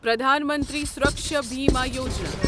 Pradhan Mantri Suraksha Bima Yojana